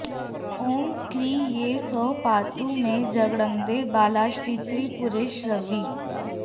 ॐ क्रीं ऐं सौः पातु मे जङ्घे बालाश्रीत्रिपुरेश्वरी